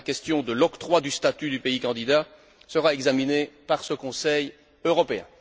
La question de l'octroi du statut du pays candidat sera examinée par ce Conseil européen.